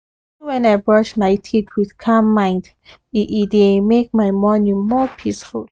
even when i brush my teeth with calm mind e e dey make my morning more peaceful